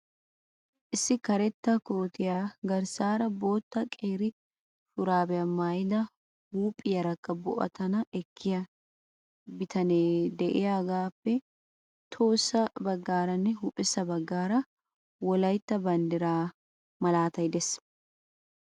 Issi karetta kootiya garssaara bootta qeeri shuraabiya maayida huuphiyaarakka bo"atanaani ekkiyaa bitanee de"iyaagaappe tohossa baggaaranne huuphessa baggaara wolayitta bandiraa malaatay de'ees.